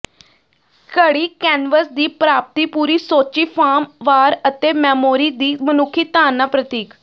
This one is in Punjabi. ਘੜੀ ਕੈਨਵਸ ਦੀ ਪ੍ਰਾਪਤੀ ਪੂਰੀ ਸੋਚੀ ਫਾਰਮ ਵਾਰ ਅਤੇ ਮੈਮੋਰੀ ਦੀ ਮਨੁੱਖੀ ਧਾਰਨਾ ਪ੍ਰਤੀਕ